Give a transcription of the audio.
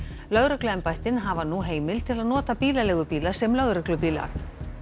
lögregluembættin hafa nú heimild til að nota bílaleigubíla sem lögreglubíla